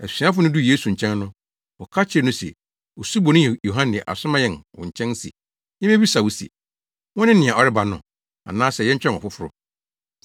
Asuafo no duu Yesu nkyɛn no, wɔka kyerɛɛ no se, “Osuboni Yohane asoma yɛn wo nkyɛn se yemmebisa wo se, wone nea ɔreba no, anaasɛ yɛntwɛn ɔfoforo?”